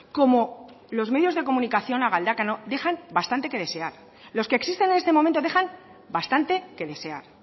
como los medios de comunicación a galdakao dejan bastante que desear los que existen en este momento dejan bastante que desear